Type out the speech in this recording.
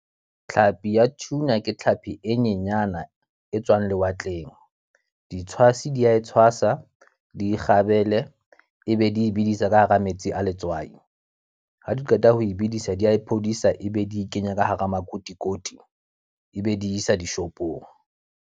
Tlhapi ya tuna ke tlhapi e nyenyana e tswang lewatleng. Di tshwasi di a e tshwasa, di kgabele, e be di bidisa ka hara metsi a letswai. Ha di qeta ho e bedisa, di a e phodisa e be di kenya ka hara makotikoti. E be di isa dishopong.